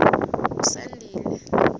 usandile